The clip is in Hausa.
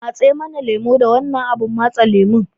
matse mana lemo da wannan abun matse lemon